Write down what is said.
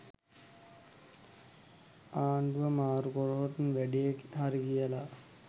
ආණ්ඩුව මාරු කලොත් වැඩේ හරි කියලා.